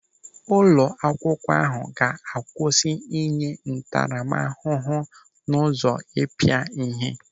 Ụlọ akwụkwọ ahụ ga-akwụsị ịnye ntaramahụhụ n'ụzọ ịpịa ịhe.